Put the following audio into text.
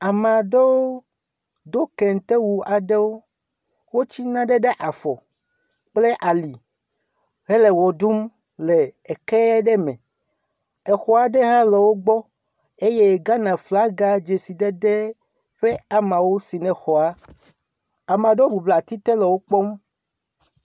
Ame ɖewo do kente wu aɖewo, wots] nane ɖe afɔ kple ali hele wɔ ɖum le eke ɖe me. Exɔa ɖe ha le wògbɔ eye Ghana flaga dzesidede ƒe amawo si ne xɔa. amaɖewo bublɔ ati te le wòkpɔm.